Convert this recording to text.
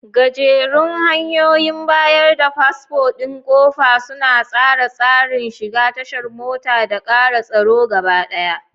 Gajerun hanyoyin bayar da fasfo ɗin ƙofa suna tsara tsarin shiga tashar mota da ƙara tsaro gabaɗaya.